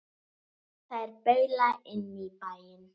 Þær baula inn í bæinn.